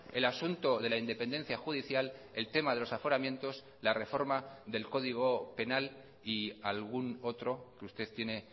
el asunto de la independencia judicial el tema de los aforamientos la reforma del código penal y algún otro que usted tiene